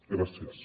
gràcies